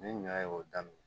Ni ɲɔ y'o daminɛ